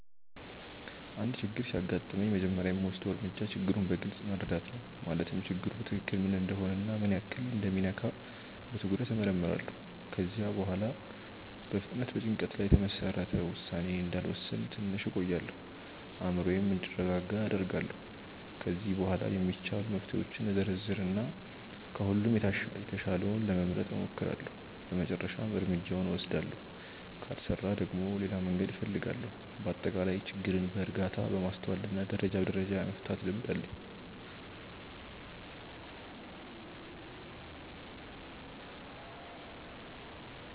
አንድ ችግር ሲያጋጥመኝ መጀመሪያ የምወስደው እርምጃ ችግሩን በግልጽ መረዳት ነው። ማለትም ችግሩ በትክክል ምን እንደሆነ እና ምን ያህል እንደሚነካ በትኩረት እመርምራለሁ። ከዚያ በኋላ በፍጥነት በጭንቀት ላይ የተመሰረተ ውሳኔ እንዳልወስን ትንሽ እቆያለሁ፤ አእምሮዬም እንዲረጋጋ አደርጋለሁ። ከዚያ በኋላ የሚቻሉ መፍትሄዎችን እዘረዝር እና ከሁሉም የተሻለውን ለመምረጥ እሞክራለሁ በመጨረሻም እርምጃውን እወስዳለሁ። ካልሰራ ደግሞ ሌላ መንገድ እፈልጋለሁ። በአጠቃላይ ችግርን በእርጋታ፣ በማስተዋል እና ደረጃ በደረጃ የመፍታት ልምድ አለኝ።